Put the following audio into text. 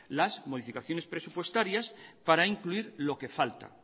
las modificaciones presupuestarias para incluir lo que falta